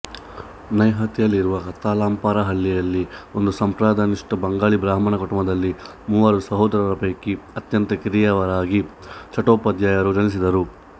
ನೈಹತಿಯಲ್ಲಿರುವ ಕಂಥಾಲಪಾರ ಹಳ್ಳಿಯಲ್ಲಿ ಒಂದು ಸಂಪ್ರದಾಯನಿಷ್ಠ ಬಂಗಾಳಿ ಬ್ರಾಹ್ಮಣ ಕುಟುಂಬದಲ್ಲಿ ಮೂವರು ಸೋದರರ ಪೈಕಿ ಅತ್ಯಂತ ಕಿರಿಯವರಾಗಿ ಚಟ್ಟೋಪಾಧ್ಯಾಯರು ಜನಿಸಿದರು